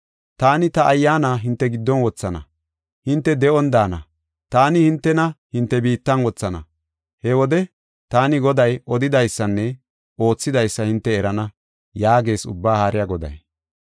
Taani ta Ayyaana hinte giddon wothana; hinte de7on daana. Taani hintena, hinte biittan wothana. He wode taani Goday odidaysanne oothidaysa hinte erana’ ” yaagees Ubbaa Haariya Goday.